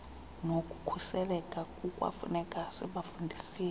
nokukhuseleka kukwafuneka sibafundisile